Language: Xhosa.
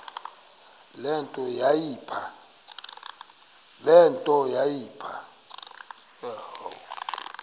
le nto yayipha